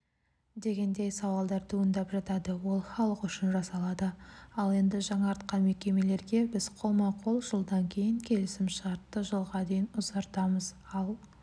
дегендей сауалдар туындап жатады ол халық үшін жасалады ал енді жаңартқан мекемелерге біз қолма-қол жылдан кейін келісімшартты жылға дейін ұзартамыз ал